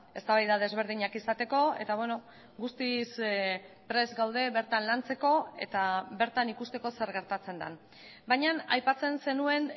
eztabaida desberdinak izateko eta guztiz prest gaude bertan lantzeko eta bertan ikusteko zer gertatzen den baina aipatzen zenuen